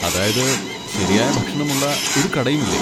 അതായത്, ശരിയായ ഭക്ഷണമുള്ള ഒരു കടയുമില്ലേ?